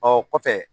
Ɔ kɔfɛ